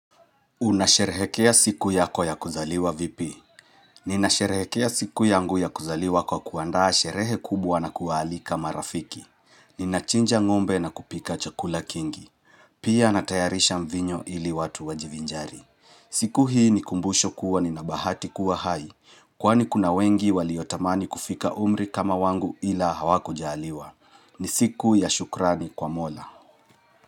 Unasherehekea siku yako ya kuzaliwa vipi. Ninasherehekea siku yangu ya kuzaliwa kwa kuandaa sherehe kubwa na kuwaalika marafiki. Ninachinja ng'ombe na kupika chakula kingi. Pia natayarisha mvinyo ili watu wajivinjari. Siku hii ni kumbusho kuwa ninabahati kuwa hai. Kwani kuna wengi waliotamani kufika umri kama wangu ila hawakujaaliwa. Ni siku ya shukrani kwa mola.